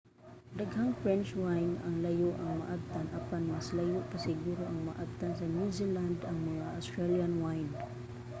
daghang french wine ang layo ang maabtan apan mas layo pa siguro ang maabtan sa new zealand ug mga australian wine